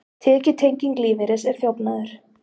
Tekjutenging lífeyris er þjófnaður